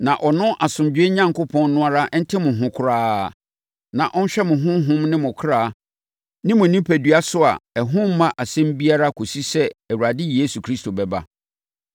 Na ɔno asomdwoeɛ Onyankopɔn no ara nte mo ho koraa, na ɔnhwɛ mo honhom ne mo ɔkra ne mo onipadua so a ɛho remma asɛm biara kɔsi sɛ yɛn Awurade Yesu Kristo bɛba.